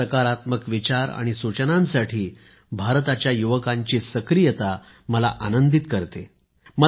सकारात्मक विचार आणि सूचनांसाठी भारताच्या युवकांची सक्रियता मला आनंदीत करते आहे